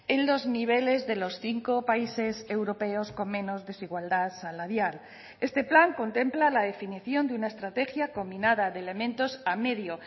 en los niveles de los cinco países europeos con menos desigualdad salarial este plan contempla la definición de una estrategia combinada de elementos a medio